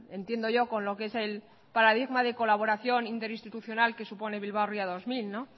entiendo yo con lo que es el paradigma de colaboración interinstitucional que supone bilbao ría dos mil